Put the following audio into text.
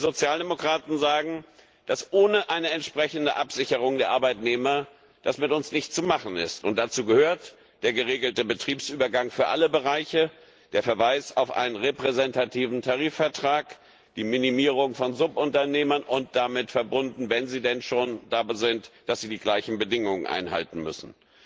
Wir Sozialdemokraten sagen, dass ohne eine entsprechende Absicherung der Arbeitnehmer das mit uns nicht zu machen ist, und dazu gehören der geregelte Betriebsübergang für alle Bereiche, der Verweis auf einen repräsentativen Tarifvertrag, die Minimierung von Subunternehmern und damit verbunden wenn sie denn schon da sind die Vorgabe, dass sie die gleichen Bedingungen einhalten müssen.